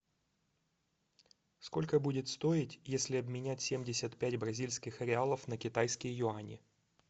сколько будет стоить если обменять семьдесят пять бразильских реалов на китайские юани